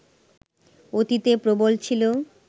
অতীতে প্রবল ছিল